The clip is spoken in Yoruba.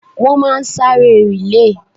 Wọ́n máa sáré rìlèè.